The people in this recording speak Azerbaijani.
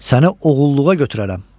Səni oğulluğa götürərəm.